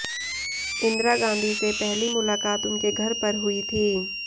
इंदिरा गांधी से पहली मुलाकात उनके घर पर हुई थी